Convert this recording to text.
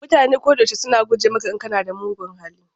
Mutane ko da yaushe suna guje maka in kana da mugun hali.